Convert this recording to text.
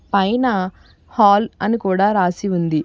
పైన హాల్ అని కూడా రాసి ఉంది.